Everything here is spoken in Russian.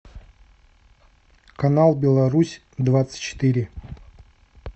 канал беларусь двадцать четыре